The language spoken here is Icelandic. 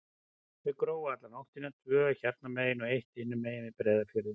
Þau grófu alla nóttina, tvö hérna megin og eitt hinum megin, við Breiðafjörðinn.